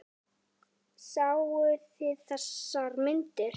Sáuð þið þessar myndir?